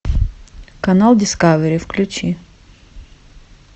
канал дискавери включи